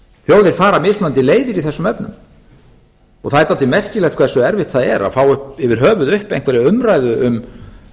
þjóðir fara mismunandi leiðir í þessum efnum það er dálítið merkilegt hversu erfitt það að fá yfir höfuð upp einhverja umræðu um